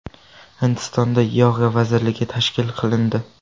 Hindistonda yoga vazirligi tashkil qilindi.